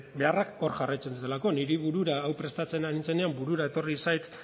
beharrak hor jarraitzen dutelako niri burura hau prestatzen ari nintzenean burura etorri zait